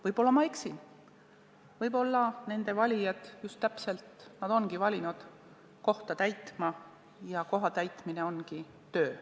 Võib-olla ma eksin, võib-olla nende valijad just ongi nad valinud kohta täitma ja koha täitmine ongi töö.